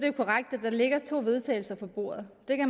jo korrekt at der ligger to vedtagelse på bordet